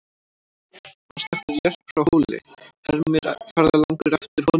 Manstu eftir Jörp frá Hóli, hermir ferðalangur eftir honum og hlær.